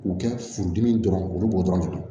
K'u kɛ furudimi dɔrɔn olu b'o dɔrɔn de la